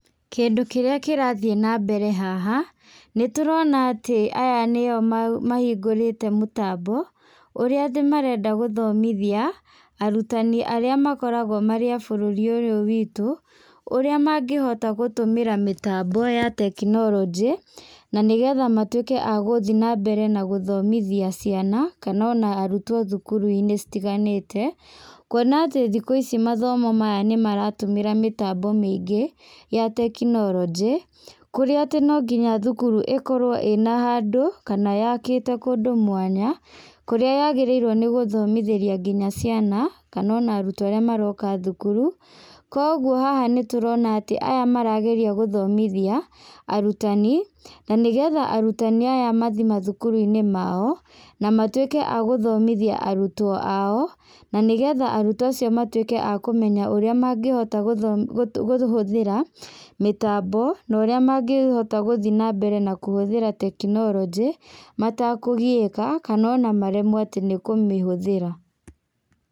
Kĩndũ kĩrĩa kĩrathiĩ na mbere haha, nĩ tũrona atĩ aya nĩo mahingũrĩte mũtambo, ũrĩa atĩ marenda gũthomithia, arutani arĩa makoragwo marĩ a bũrũri ũyũ witũ, ũrĩa mangĩhota gũtũmĩra mĩtambo ya tekinoronjĩ, na nĩgetha matuĩke a gũthiĩ na mbere na gũthomithia ciana, kana ona arutwo thukuru-inĩ citiganĩte. Kuona atĩ thikũ ici mathomo maya nĩ maratũmĩra mĩtambo mĩingĩ ya tekinoronjĩ, kũríĩ atĩ no nginya thukuru ĩkorwo ĩna handũ kana yakĩte kũndũ mwanya, kũrĩa yagĩrĩirwo nĩ gũthomithia nginya ciana, kana ona arutwo arĩa maroka thukuru. Koguo haha nĩ tũrona atĩ aya marageria gũthomithia arutani, na nĩgetha arutani aya mathiĩ mathukuru-inĩ mao, na matuĩke agũthomithia arutwo ao, na nĩgetha arutwo acio matuĩke akũmenya ũrĩa mangĩhota kũhũthĩra mĩtambo, na ũrĩa mangĩhota gũthiĩ na mbere na kũhũthĩra tekinoronjĩ, matakũgiĩka, kana ona maremwo ati nĩ kũmĩhũthĩra.